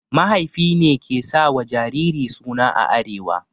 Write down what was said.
Mahaifi ne ke sa wa jariri suna a arewa.